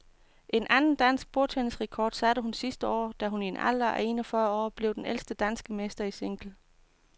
En anden dansk bordtennisrekord satte hun sidste år, da hun i en alder af en og fyrre år blev den ældste danske mester i single.